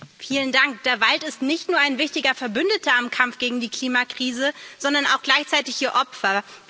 Herr Präsident! Der Wald ist nicht nur ein wichtiger Verbündeter im Kampf gegen die Klimakrise, sondern auch gleichzeitig ihr Opfer.